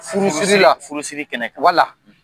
Furusiri la , furusiri kɛnɛ kan, wala.